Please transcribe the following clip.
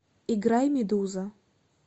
играй медуза